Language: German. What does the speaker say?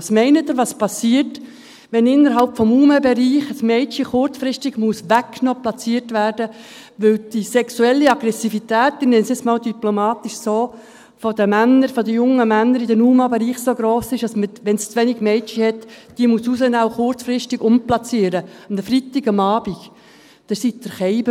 Was meinen Sie, passiert, wenn innerhalb des Bereichs der Unbegleiteten minderjährigen Asylsuchenden (UMA) ein Mädchen kurzfristig weggenommen und platziert werden muss, weil die sexuelle Aggressivität – ich nenne es jetzt einmal diplomatisch so – der jungen Männer im UMA-Bereich so gross ist, dass man Mädchen herausnehmen und kurzfristig umplatzieren muss, wenn es zu wenig Mädchen hat – und dies an einem Freitagabend?